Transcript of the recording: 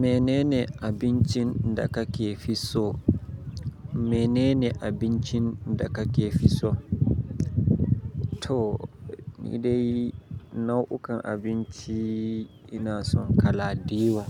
Menene abincin da kake fi so? Menene abincin da kake fi so? To, ni dai nau'ukan abinci ina son kala da yawa,